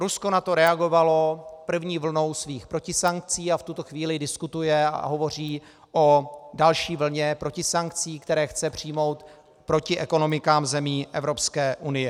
Rusko na to reagovalo první vlnou svých protisankcí a v tuto chvíli diskutuje a hovoří o další vlně protisankcí, které chce přijmout proti ekonomikám zemí Evropské unie.